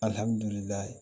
Alihamdullilaye